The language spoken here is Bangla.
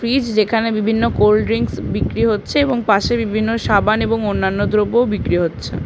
ফ্রিজ যেখানে বিভিন্ন কোল ড্রিংস বিক্রি হচ্ছে এবং পাশে বিভিন্ন সাবান এবং অন্যান্য দ্রব্যও বিক্রি হচ্ছে ।